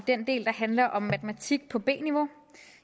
den del der handler om matematik på b niveau